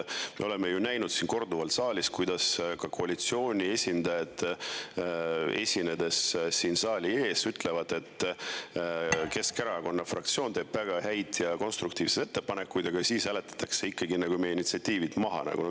Me oleme ju näinud siin korduvalt, kuidas ka koalitsiooni esindajad esinedes saali ees ütlevad, et Keskerakonna fraktsioon teeb väga häid ja konstruktiivseid ettepanekuid, aga siis hääletatakse ikkagi meie initsiatiivid maha.